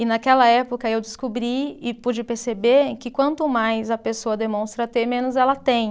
E naquela época eu descobri e pude perceber que quanto mais a pessoa demonstra ter, menos ela tem.